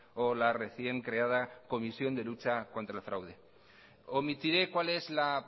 o la recién creada comisión de lucha contra el fraude omitiré cuál es la